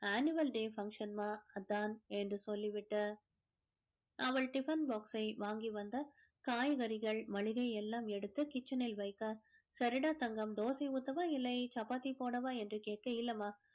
annual day function மா அதான் என்று சொல்லிவிட்டு அவள் tiffin box சை வாங்கி வந்து காய்கறிகள் மளிகை எல்லாம் எடுத்து kitchen னில் வைத்தாள் சரிடா தங்கம் தோசை ஊத்தவா இல்லை சப்பாத்தி போடவா என்று கேட்க இல்லைம்மா